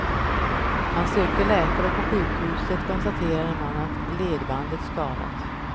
Han sökte läkare och på sjukhuset konstaterade man att ledbandet skadats.